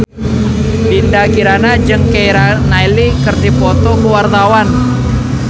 Dinda Kirana jeung Keira Knightley keur dipoto ku wartawan